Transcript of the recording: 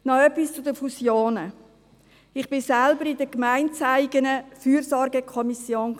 Noch etwas zu den Fusionen: Ich war selbst in der gemeindeeigenen Fürsorgekommission.